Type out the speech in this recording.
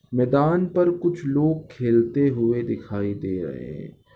मैदान पर कुछ लोग खेलते हुए दिखाई दे रहे है।